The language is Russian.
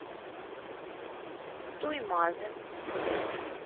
туймазы